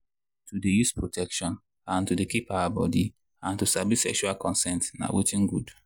to dey use protection and to dey keep our body and to sabi sexual consent na watin good.